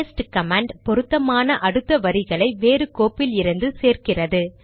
paste command பொருத்தமான அடுத்த வரிகளை வேறு கோப்பிலிருந்து சேர்க்கிறது